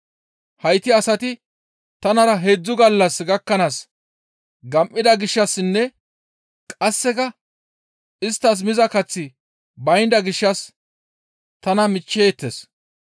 «Hayti asati tanara heedzdzu gallas gakkanaas gam7ida gishshassinne qasseka isttas miza kaththi baynda gishshas tana miichcheettes.